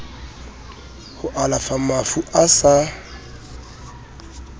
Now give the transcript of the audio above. ho alafa mafu a sa